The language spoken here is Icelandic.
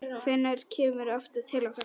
Hvenær kemurðu aftur til okkar?